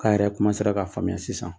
K'a yɛrɛ ka faamuya sisan.